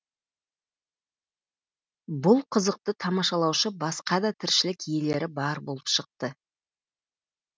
бұл қызықты тамашалаушы басқа да тіршілік иелері бар болып шықты